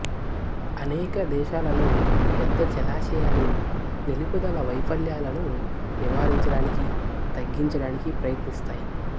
అనేక దేశాలలో పెద్ద జలాశయాలు నిలుపుదల వైఫల్యాలను నివారించడానికి తగ్గించడానికి ప్రయత్నిస్తాయి